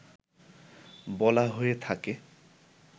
বলা হয়ে থাকে